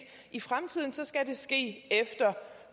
i fremtiden så skal det ske efter